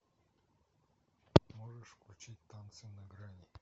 можешь включить танцы на грани